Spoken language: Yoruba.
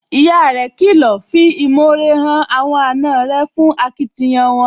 Ìyá rẹ̀ kìlọ̀, 'fi ìmore hàn àwọn àna rẹ̀ fún akitiyan wọn,